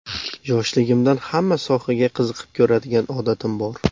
Yoshligimdan hamma sohaga qiziqib ko‘radigan odatim bor.